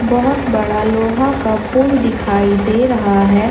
बहोत बड़ा लोहा का पुल दिखाई दे रहा है।